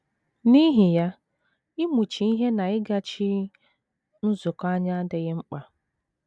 N’ihi ya, ịmụchi ihe na ịgachi nzukọ anya adịghị mkpa.